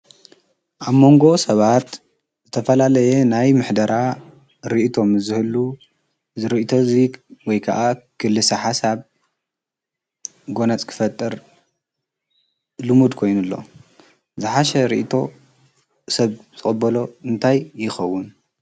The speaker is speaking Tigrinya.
ኣብ መንጎ ሰባት ዘተፈላለየ ናይ ምሕደራ ርእቶም ዘህሉ ዝርኢቶ እዙግ ወይ ከዓ ክልሳሓ ሳብ ጐነጽ ክፈጥር ልሙድ ኮይኑኣሎ ዝሓሽ ርእቶ ሰብ ተበሎ እንታይ ይኸውን።